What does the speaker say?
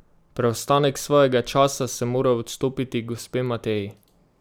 Preostanek svojega časa sem moral odstopiti gospe Mateji.